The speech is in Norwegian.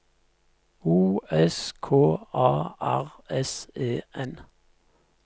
O S K A R S E N